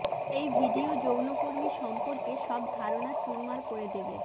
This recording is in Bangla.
এই ভিডিও যৌনকর্মী সম্পর্কে সব ধারণা চুরমার করে দেবে